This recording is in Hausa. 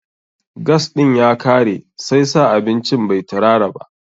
Gas ɗin ya kare, sai sa abincin bai tirara ba.